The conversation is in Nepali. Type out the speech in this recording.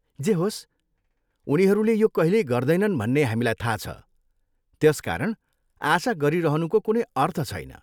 जे होस्, उनीहरूले यो कहिल्यै गर्दैनन् भन्ने हामीलाई थाहा छ, त्यसकारण आशा गरिहनुको कुनै अर्थ छैन।